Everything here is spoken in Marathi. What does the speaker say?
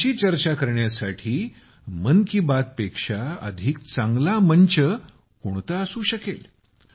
त्यांची चर्चा करण्यासाठी मन की बात यापेक्षा अधिक चांगला मंच कोणता असू शकेल